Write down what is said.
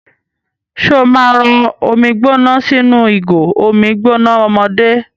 Ṣó máa rọ omi gbóná sínú ìgò omi gbóná ọmọdé?